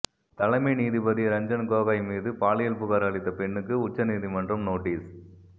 தலைமை நீதிபதி ரஞ்சன் கோகாய் மீது பாலியல் புகார் அளித்த பெண்ணுக்கு உச்சநீதிமன்றம் நோட்டீஸ்